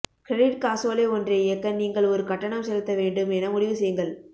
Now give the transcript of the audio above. credit காசோலை ஒன்றை இயக்க நீங்கள் ஒரு கட்டணம் செலுத்த வேண்டும் என முடிவு செய்யுங்கள்